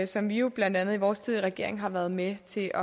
som vi jo blandt andet i vores tid i regering har været med til